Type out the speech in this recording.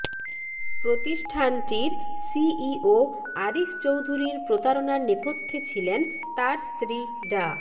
প্রতিষ্ঠানটির সিইও আরিফ চৌধুরীর প্রতারণার নেপথ্যে ছিলেন তার স্ত্রী ডা